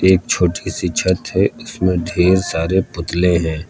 एक छोटी सी छत है उसमें ढ़ेर सारे पुतले हैं।